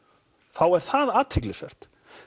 þá er það athyglisvert